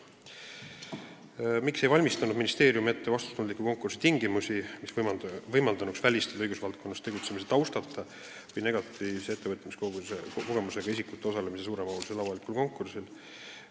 Teine küsimus: "Miks ei valmistanud ministeerium ette vastutustundliku konkursi tingimusi, mis võimaldanuks välistada õigusvaldkonnas tegutsemise taustata ja/või negatiivse ettevõtjakogemusega isikute osalemise suuremahulisel avalikul konkursil?